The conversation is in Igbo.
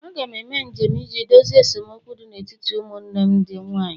Aga m eme njem iji dozie esemokwu dị n'etiti ụmụnne m ndị nwanyị